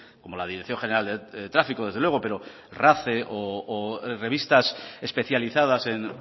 como la dirección general de tráfico desde luego pero race o revistas especializadas en